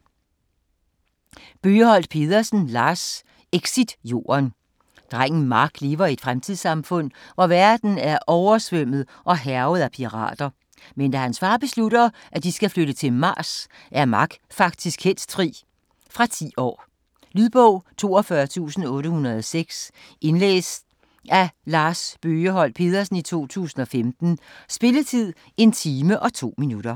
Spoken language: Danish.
Bøgeholt Pedersen, Lars: Exit Jorden Drengen Mark lever i et fremtidssamfund, hvor verden er oversvømmet og hærget af pirater. Men da hans far beslutter, at de skal flytte til Mars, er Mark faktisk helst fri. Fra 10 år. Lydbog 42806 Indlæst af Lars Bøgeholt Pedersen, 2015. Spilletid: 1 time, 2 minutter.